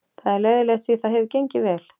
Það er leiðinlegt því það hefur gengið vel.